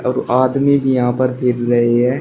और आदमी भी यहां पर फिर रहे हैं।